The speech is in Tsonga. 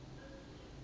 mihandzu ya nhova